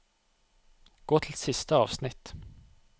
Gå til siste avsnitt